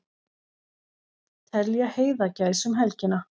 Telja heiðagæs um helgina